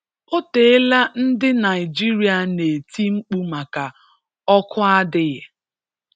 Otela ndị Naịjirịa n'eti mkpụ maka ọkụ adịghị.